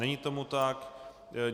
Není tomu tak.